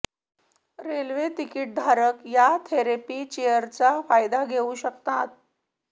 railway तिकीटधारक या therapy चेअरचा फायदा घेऊ शकतात